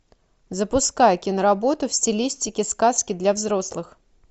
запускай киноработу в стилистике сказки для взрослых